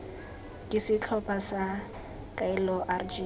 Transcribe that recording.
ke setlhopha sa kaelo rg